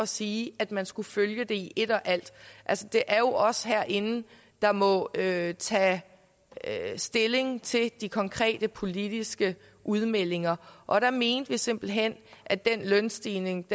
sige at man skulle følge det i et og alt altså det er jo os herinde der må tage tage stilling til de konkrete politiske udmeldinger og der mente vi simpelt hen at den lønstigning